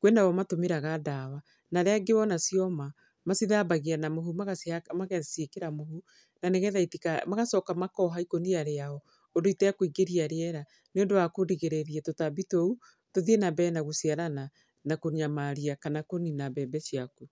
Kwĩ na o matũmĩraga ndawa, na arĩa angĩ wona cioma, macithambagia na mũhu magacihaka, magaciĩkĩra mũhu, na nĩgetha. Magacoka makoha ikũnia rĩao, ũndũ itekũingĩria rĩera. Nĩ ũndũ wa kũrigĩrĩria tũtambi tũu, tũthiĩ na mbere na gũciarana, na kũnyamaria kana kũnina mbembe ciaku.